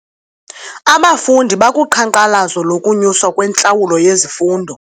Abafundi bakuqhankqalazo lokunyuswa kwentlawulo yezifundo.